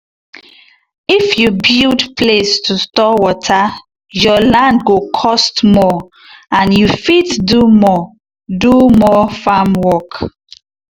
if you build place to store water your land go cost more and you fit do more do more farm work.